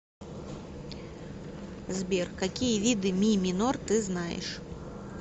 сбер какие виды ми минор ты знаешь